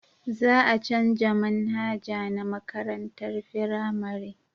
Za a canja manhaja na makarantar firamare